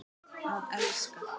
Að elska.